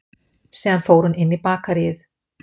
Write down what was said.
Síðan fór hún inn í bakaríið